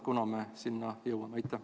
Kunas me sinna jõuame?